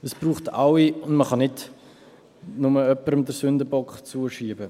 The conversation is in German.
Es braucht alle und man kann nicht nur jemandem den Sündenbock zuschieben.